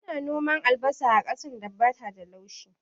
Ana noman albasa a ƙasan da bata da laushi